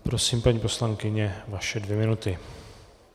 Prosím, paní poslankyně, vaše dvě minuty.